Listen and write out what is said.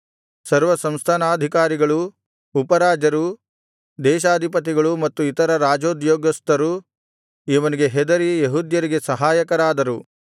ಸರ್ವ ಸಂಸ್ಥಾನಾಧಿಕಾರಿಗಳೂ ಉಪರಾಜರೂ ದೇಶಾಧಿಪತಿಗಳೂ ಮತ್ತು ಇತರ ರಾಜೋದ್ಯೋಗಸ್ಥರೂ ಅವನಿಗೆ ಹೆದರಿ ಯೆಹೂದ್ಯರಿಗೆ ಸಹಾಯಕರಾದರು